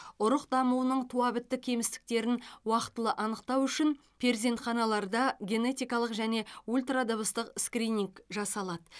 ұрық дамуының туабітті кемістіктерін уақытылы анықтау үшін перзентханаларда генетикалық және ультрадыбыстық скрининг жасалады